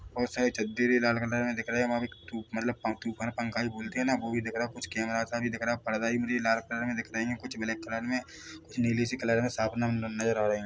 और सारी लाल कलर में दिख रही है मतलब पंखा भी बोलते है। ना बो भी दिख रा कुछ कैमरा सा भी दिख रहा है पर्दा भी मुझे लाल कलर में दिख राये है कुछ ब्लैक कलर में कुछ नीली से कलर में साफ नजर आ रहे है।